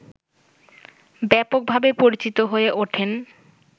ব্যাপকভাবে পরিচিত হয়ে ওঠেন